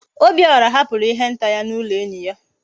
Obiora hapuru ihe nta ya na ulo enyi ya